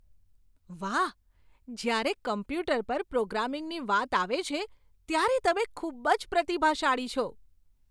વાહ! જ્યારે કોમ્પ્યુટર પર પ્રોગ્રામિંગની વાત આવે છે, ત્યારે તમે ખૂબ જ પ્રતિભાશાળી છો.